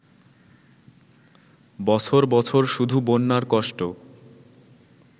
বছর বছর শুধু বন্যার কষ্ট